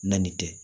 Na nin tɛ